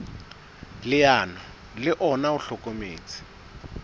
leano le ona o hlokometse